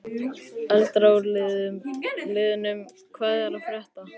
Eldra úr liðnum Hvað er að frétta?